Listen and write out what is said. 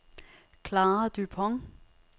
Klara Dupont